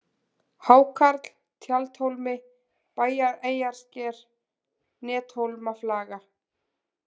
Hákarl, Tjaldhólmi, Bæjareyjarsker, Nethólmaflaga